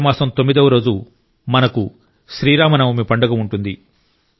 చైత్ర మాసం తొమ్మిదవ రోజు మనకు శ్రీరామ నవమి పండుగ ఉంటుంది